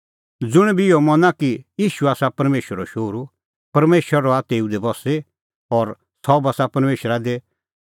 ज़ुंण बी इहअ मना कि ईशू आसा परमेशरो शोहरू परमेशर रहा तेऊ दी बस्सी और सह बस्सा परमेशरा दी